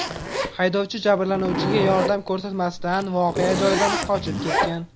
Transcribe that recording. Haydovchi jabrlanuvchiga yordam ko‘rsatmasdan voqea joyidan qochib ketgan.